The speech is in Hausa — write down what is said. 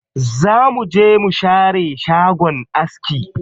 Za mu je mu share shagon aski.